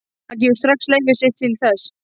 Hann gefur strax leyfi sitt til þess.